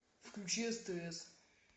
включи стс